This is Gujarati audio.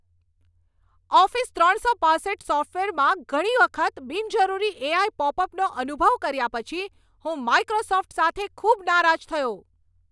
ઓફિસ ત્રણસો પાંસઠ સોફ્ટવેરમાં ઘણી વખત બિનજરૂરી એઆઈ પોપઅપનો અનુભવ કર્યા પછી હું માઈક્રોસોફ્ટ સાથે ખૂબ નારાજ થયો.